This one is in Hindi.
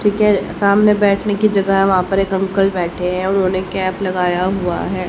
ठीक है सामने बैठने की जगह है वहां पर एक अंकल बैठे हैं उन्होंने कैप लगाया हुआ है।